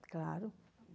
Claro.